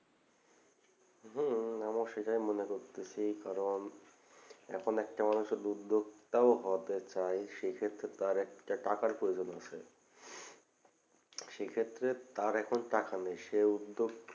হম আমার সেটাই মনে করছি সেই কারণ এখন একটা মানুষের উদ্যোক্তাও হওয়াতে চাই সেক্ষেত্রে তার একটা টাকার প্রয়োজন আছে সেক্ষেত্রে তার এখন টাকা নেই সেও উদ্যোগ